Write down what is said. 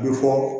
A bɛ fɔ